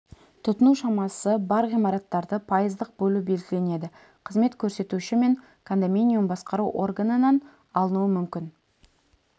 тұтыну шамасы бар ғимараттарды пайыздық бөлу белгіленеді қызмет көрсетуші мен кондоминиум басқару органынан алынуы мүмкін